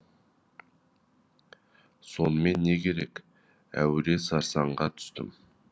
сонымен не керек әуре сарсаңға түстім